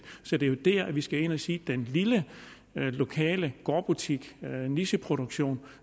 så det er jo der vi skal ind at sige at den lille lokale gårdbutik nicheproduktion